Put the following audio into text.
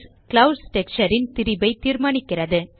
clouds texture ன் திரிபை தீர்மானிக்கிறது